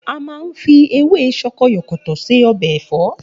A máa ń fi ewé sokoyòkòtò ṣe ọbẹ̀ ẹ̀fọ́